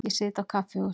Ég sit á kaffihúsi.